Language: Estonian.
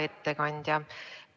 Hea ettekandja!